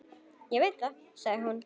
Ég veit það, sagði hún.